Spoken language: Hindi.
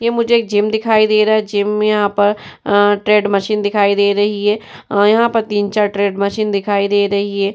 ये मुझे जिम दिखाई दे रहा है जिम में यहाँ पर ट्रेड मशीन दिखाई दे रही है और यहाँ पर तीन-चार ट्रेड मशीन दिखाई दे रही है।